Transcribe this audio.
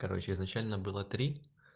короче изначально было три